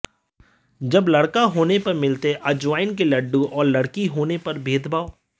जब लड़का होने पर मिलते अजवायन के लड्डू और लड़की होने पर भेदभाव